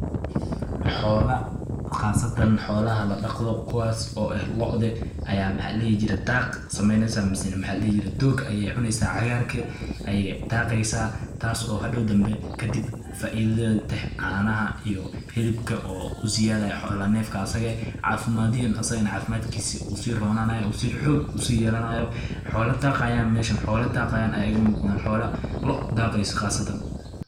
Xoola qaasatan xoolaha la daqdoh kuwas oo eeh loodeh Aya maxaa ladehi jeeray daaq sameeneysah, mise mxaa ladehi jeeray doog Aya cuuneysah mise cagarka Aya daaqeysah taaso oo hadaw dambi faaitho teeteh, canaha iyo helibka u ziyathaya xoolaha neefkas asaaga cafimadka asaga cafimadkisa wuu si roonaya si xoog ayu seyelanyah xoola daqayeen mesha xoola daqayeen Aya mesha n loo daqaysah meshan.